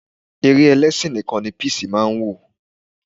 Eré ẹlẹ́sìn nìkan ni Peace máa ń wò.